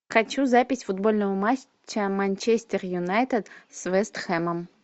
хочу запись футбольного матча манчестер юнайтед с вест хэмом